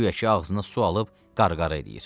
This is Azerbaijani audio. Güya ki ağzına su alıb qarqara eləyir.